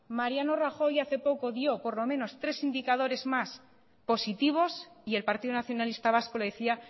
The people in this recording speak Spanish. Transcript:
mariano rajoy hace poco dio por lo menos tres indicadores más positivos y el partido nacionalista vasco le decía